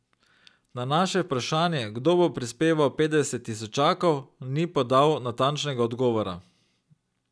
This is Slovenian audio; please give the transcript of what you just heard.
Na naše vprašanje, kdo bo prispeval petdeset tisočakov, ni podal natančnega odgovora.